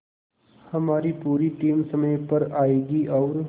हमारी पूरी टीम समय पर आएगी और